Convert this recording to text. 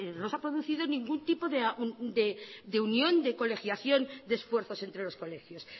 no se ha producido ningún tipo de unión de colegiación de esfuerzos entre los colegios